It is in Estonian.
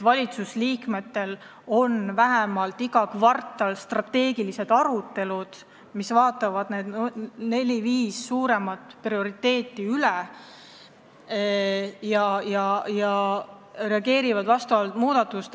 Valitsusliikmetel on vähemalt iga kvartal strateegilised arutelud, kus vaadatakse üle, kuidas seis nende nelja-viie suurema prioriteedi arvestamisel on, ja reageeritakse vastavalt, tehes vajalikke muudatusi.